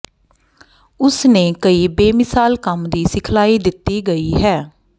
ਉਸ ਨੇ ਕਈ ਬੇਮਿਸਾਲ ਕੰਮ ਦੀ ਸਿਖਲਾਈ ਦਿੱਤੀ ਗਈ ਹੈ